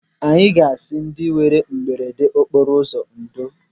Anyị ga-asị ndị nwere mberede okporo ụzọ ndo.